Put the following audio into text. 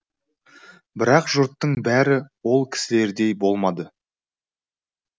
бірақ жұрттың бәрі ол кісілердей болмады